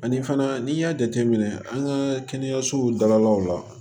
Ani fana n'i y'a jateminɛ an ka kɛnɛyasow dalaw la